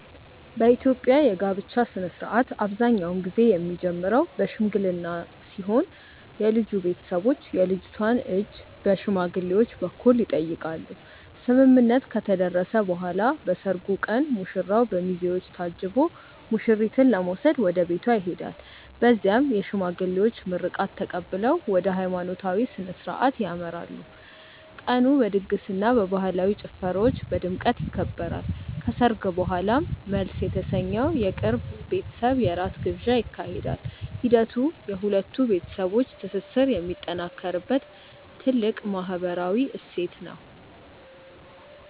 የኢትዮጵያ የጋብቻ ሥነ ሥርዓት አብዛኛውን ጊዜ የሚጀምረው በሽምግልና ሲሆን የልጁ ቤተሰቦች የልጅቷን እጅ በሽማግሌዎች በኩል ይጠይቃሉ። ስምምነት ከተደረሰ በኋላ በሰርጉ ቀን ሙሽራው በሚዜዎች ታጅቦ ሙሽሪትን ለመውሰድ ወደ ቤቷ ይሄዳል። በዚያም የሽማግሌዎች ምርቃት ተቀብለው ወደ ሃይማኖታዊ ሥነ ሥርዓት ያመራሉ። ቀኑ በድግስና በባህላዊ ጭፈራዎች በድምቀት ይከበራል። ከሰርግ በኋላም መልስ የተሰኘው የቅርብ ቤተሰብ የራት ግብዣ ይካሄዳል። ሂደቱ የሁለት ቤተሰቦች ትስስር የሚጠናከርበት ትልቅ ማህበራዊ እሴት ነው።